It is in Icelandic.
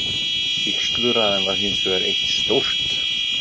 Vígsluræðan var hinsvegar eitt stórt?